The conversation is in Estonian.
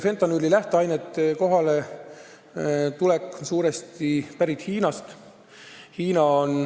Fentanüüli lähteained on suuresti pärit Hiinast.